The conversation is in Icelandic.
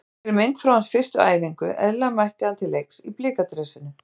Hér er mynd frá hans fyrstu æfingu- eðlilega mætti hann til leiks í Blika dressinu.